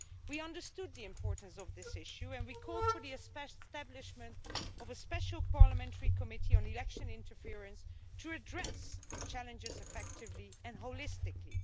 We understood the importance of this issue and we called for the establishment of a special parliamentary committee on election interference to address the challenges effectively and holistically.